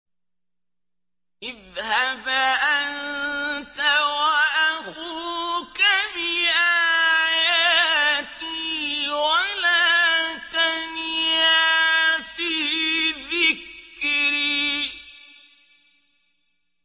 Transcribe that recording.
اذْهَبْ أَنتَ وَأَخُوكَ بِآيَاتِي وَلَا تَنِيَا فِي ذِكْرِي